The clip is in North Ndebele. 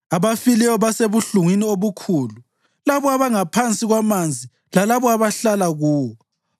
Abafileyo basebuhlungwini obukhulu, labo abangaphansi kwamanzi lalabo abahlala kuwo.